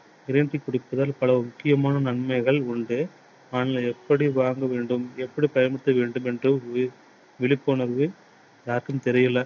green tea குடிப்பதால் பல முக்கியமான நன்மைகள் உண்டு. அதை எப்படி வாங்க வேண்டும்? எப்படி பயன் செய்ய வேண்டும் என்று விழிப்புணர்வு யாருக்கும் தெரியலை.